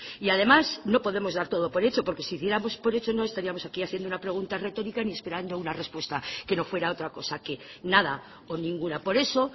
y además no podemos dar todo por hecho porque si diéramos por hecho no estaríamos aquí haciendo una pregunta retórica ni esperando una respuesta que no fuera otra cosa que nada o ninguna por eso